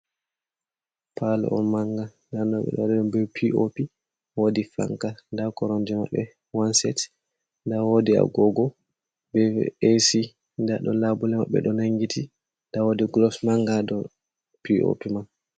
Palo on manga, sannan ɓe waɗi ɗum be pop wodi fanka, nda koromje maɓɓe wanset, nda wodi agogo be a c nda ɗoon labole maɓɓe ɗoo nangiti, nda wodi gulos manga ha dow pop man.